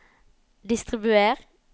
distribuer